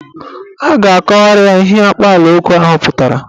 A ga-akọwara ya ihe akpaalaokwu ahụ pụtara.